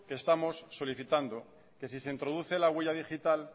que estamos solicitando que si se introduce la huella digital